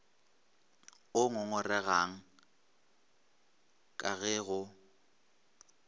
o ngongoregang ka ge go